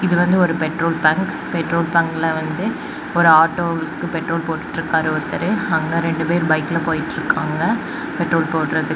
இது வந்து ஒரு பெட்ரோல் பங்க் பெட்ரோல் பங்கில வந்து ஒரு ஆட்டோக்கு பெட்ரோல் போட்டுட்டு இருக்காரு ஒருத்தரு அங்க ரெண்டு பேர் பைக்ல போயிட்ருக்காங்க பெட்ரோல் போடறதுக்--